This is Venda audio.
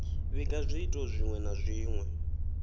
vhiga zwiito zwinwe na zwinwe